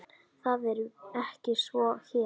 Það er ekki svo hér.